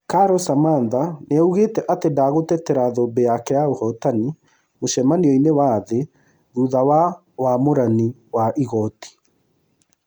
Carol Samantha nĩaugete atĩ nĩ ndagũtetera thũmbĩ yake ya ũhootani mũcamanioinĩ wa thĩ thutha wa ũamũũri wa mahakama.